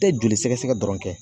E joli sɛgɛsɛgɛ dɔrɔn kɛ